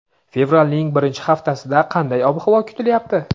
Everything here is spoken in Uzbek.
Fevralning birinchi haftasida qanday ob-havo kutilyapti?.